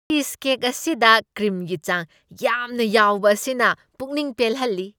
Cheesecake ꯑꯁꯤꯗ ꯀ꯭ꯔꯤꯝꯒꯤ ꯆꯥꯡ ꯌꯥꯝꯅ ꯌꯥꯎꯕ ꯑꯁꯤꯅ ꯄꯨꯛꯅꯤꯡ ꯄꯦꯜꯍꯜꯂꯤ ꯫